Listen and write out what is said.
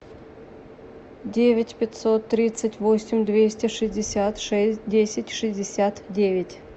девять пятьсот тридцать восемь двести шестьдесят шесть десять шестьдесят девять